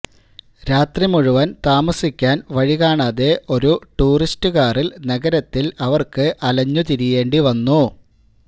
രാത്രി മുഴുവന് താമസിക്കാന് വഴി കാണാതെ ഒരു ടൂറിസ്റ്റുകാറില് നഗരത്തില് അവര്ക്ക് അലഞ്ഞുതിരിയേണ്ടിവന്നു